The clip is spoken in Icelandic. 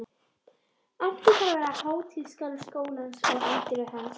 Átti þar að vera hátíðasalur skólans og anddyri hans.